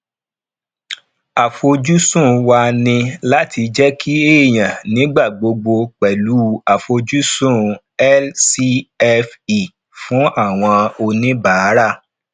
àfojúsùn wa ni láti jẹ kí èèyàn nigbagbogbo pẹlu àfojúsùn lcfe fún àwọn oníbàárà